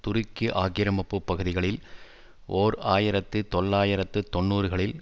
துருக்கி ஆக்கிரமிப்பு பகுதிகளில் ஓர் ஆயிரத்து தொள்ளாயிரத்து தொன்னூறுகளில்